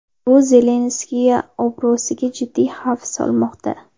Bu Zelenskiy obro‘siga jiddiy xavf solmoqda.